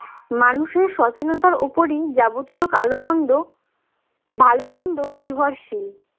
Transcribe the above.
মানুষের সচেনতার উপরেই যাবতীয় কালো মন্দ ভাল মন্দ নির্ভরশীল